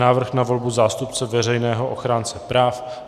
Návrh na volbu zástupce Veřejného ochránce práv